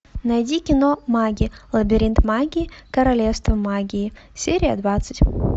найди кино маги лабиринт магии королевство магии серия двадцать